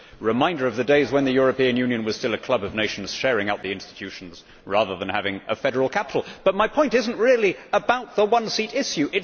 It is a reminder of the days when the European Union was still a club of nations sharing out the institutions rather than having a federal capital, but my point is not really about the one seat' issue.